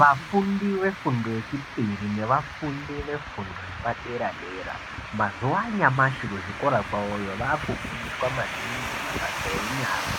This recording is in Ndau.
Vafundi vefundo yechipiri nevafundi vefundo yepadera-dera mazuva anyamashi kuzvikora kwavoyo vakufundiswa maningi mabasa enyara